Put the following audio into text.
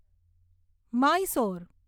Mysore